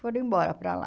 Foram embora para lá.